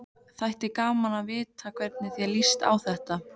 Þætti gaman að vita hvernig þér líst á þetta?